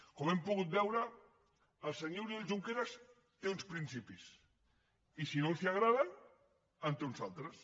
com hem pogut veure el senyor oriol junqueras té uns principis i si no els agraden en té uns altres